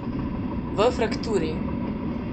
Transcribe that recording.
V frakturi.